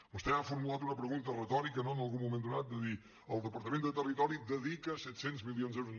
vostè m’ha formulat una pregunta retòrica no en algun moment donat de dir el departament de territori dedica set cents milions d’euros